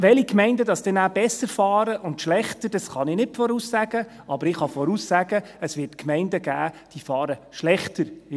Welche Gemeinden besser und schlechter fahren werden, kann ich nicht voraussagen, aber ich kann voraussagen, dass es Gemeinden geben wird, die schlechter fahren werden.